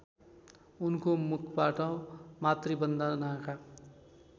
उनको मुखबाट मातृवन्दनाका